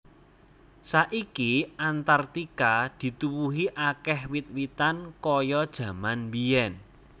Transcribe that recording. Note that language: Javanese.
Saiki Antarktika dituwuhi akèh wit witan kaya jaman mbiyèn